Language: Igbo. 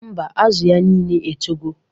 Mba, Azụ ya nile etogo